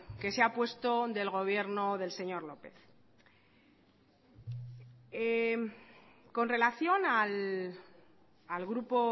que se ha puesto del gobierno del señor lópez con relación al grupo